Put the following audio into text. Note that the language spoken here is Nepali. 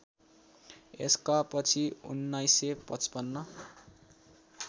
यसका पछि १९५५